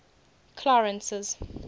clarence's